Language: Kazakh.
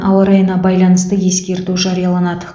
ауа райына байланысты ескерту жарияланады